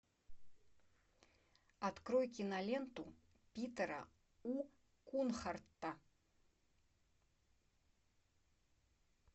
открой киноленту питера у кунхардта